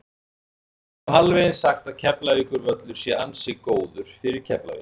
Við getum alveg eins sagt að Keflavíkurvöllur sé ansi góður fyrir Keflavík.